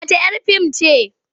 Wata 'yar fim ce.